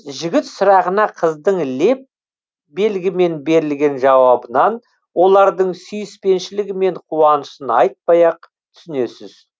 жігіт сұрағына қыздың леп белгімен берілген жауабынан олардың сүйіспеншілігі мен қуанышын айтпай ақ түсінесіз